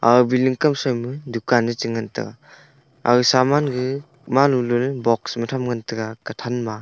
aga billing kaw shroi ma dukan e chengan tega aga ge malolo box ma tham ngan taiga kathan ma.